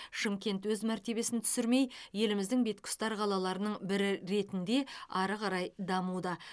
шымкент өз мәртебесін түсірмей еліміздің бетке ұстар қалаларының бірі ретінде ары қарай дамуда